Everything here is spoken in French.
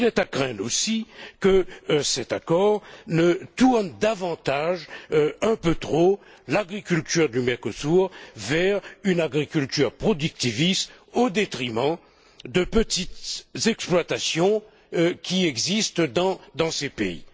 Il est à craindre, aussi, que cet accord ne tourne davantage, un peu trop, l'agriculture du Mercosur vers une agriculture productiviste, au détriment des petites exploitations qui existent dans ces pays.